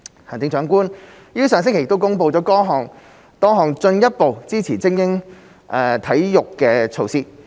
行政長官於上星期公布多項進一步支持精英體育的措施。